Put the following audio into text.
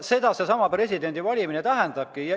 Seda presidendivalimine tähendabki.